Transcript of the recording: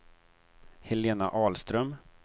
Helena Ahlström